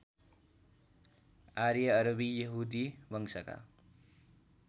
आर्य अरबी यहूदी वंशका